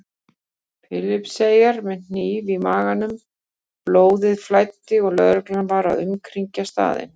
Filippseyingur með hníf í maganum, blóðið flæddi og lögreglan var að umkringja staðinn.